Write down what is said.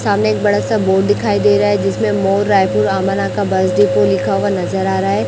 सामने एक बड़ा सा बोर्ड दिखाई दे रहा है जिसमें मोर रायपुर रमन का बस डिपो लिखा हुआ नजर आ रहा है।